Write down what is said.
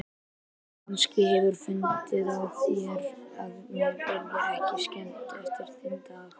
Kannski hefurðu fundið á þér að mér yrði ekki skemmt eftir þinn dag.